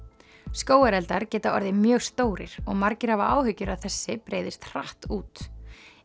skógareldar geta orðið mjög stórir og margir hafa áhyggjur að þessi breiðist hratt út